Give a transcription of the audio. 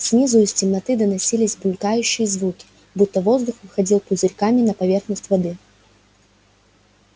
снизу из темноты доносились булькающие звуки будто воздух выходил пузырьками на поверхность воды